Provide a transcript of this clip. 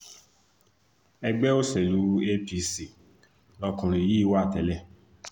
ẹgbẹ́ òṣèlú apc lọkùnrin yìí wà tẹ́lẹ̀